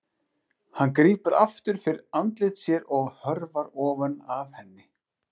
Hann grípur aftur fyrir andlit sér og hörfar ofan af henni.